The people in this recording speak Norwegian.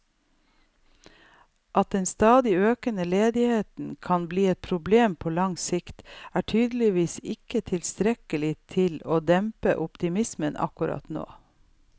At den stadig økende ledigheten kan bli et problem på lang sikt, er tydeligvis ikke tilstrekkelig til å dempe optimismen akkurat nå.